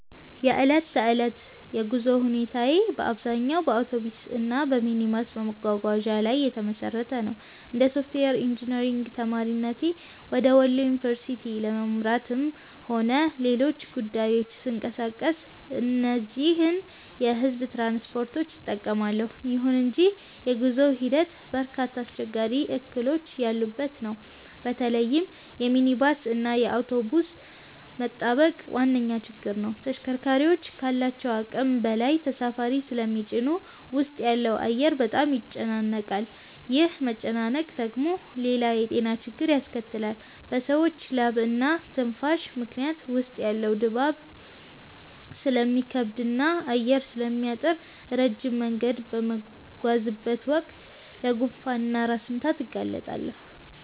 የዕለት ተዕለት የጉዞ ሁኔታዬ በአብዛኛው በአውቶቡስ እና በሚኒባስ መጓጓዣዎች ላይ የተመሰረተ ነው። እንደ ሶፍትዌር ኢንጂነሪንግ ተማሪነቴ ወደ ወሎ ዩኒቨርሲቲ ለማምራትም ሆነ ለሌሎች ጉዳዮች ስንቀሳቀስ እነዚህን የሕዝብ ትራንስፖርቶች እጠቀማለሁ። ይሁን እንጂ የጉዞው ሂደት በርካታ አስቸጋሪ እክሎች ያሉበት ነው። በተለይም የሚኒባስ እና የአውቶቡስ መጣበቅ ዋነኛው ችግር ነው። ተሽከርካሪዎቹ ካላቸው አቅም በላይ ተሳፋሪ ስለሚጭኑ ውስጥ ያለው አየር በጣም ይጨናነቃል። ይህ መጨናነቅ ደግሞ ሌላ የጤና ችግር ያስከትላል፤ በሰዎች ላብና ትንፋሽ ምክንያት ውስጥ ያለው ድባብ ስለሚከብድና አየር ስለሚታጠር፣ ረጅም መንገድ በምጓዝበት ወቅት ለጉንፋን እና ለራስ ምታት እጋለጣለሁ